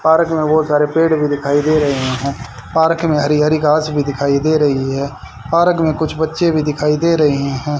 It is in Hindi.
पार्क में बहुत सारे पेड़ भी दिखाई दे रहे हैं पार्क में हरी हरी घास भी दिखाई दे रही है पार्क में कुछ बच्चे भी दिखाई दे रहे हैं।